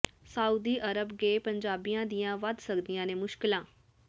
Saudi Arab ਗਏ ਪੰਜਾਬੀਆਂ ਦੀਆਂ ਵਧ ਸਕਦੀਆਂ ਨੇ ਮੁਸ਼ਕਲਾਂ